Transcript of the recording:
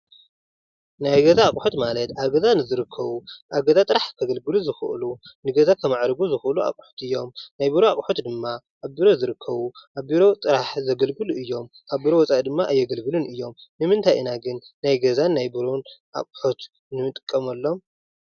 ናይ ገዛ ኣቕሑት ማለት ኣብ ገዛ ንዝርከቡ ኣብ ገዛ ጥራሕ ከገልግሉ ንዝኽእሉ ንገዛ ከማዕርጉ ዝኽእሉ ኣቕሑት እዮም፡፡ ናይ ቢሮ ኣቐሑት ድማ ኣብ ቢሮ ዝርከቡ፣ ኣብ ቢሮ ጥራሕ ዘገልግሉ እዮም፡፡ ኣብ ገዛ ድማ ኣየገልግሉን እዮም፡፡ ንምንታይ ኢና ግን ናይ ገዛን ቢሮን ኣቕሑት ንጥቀመሎም?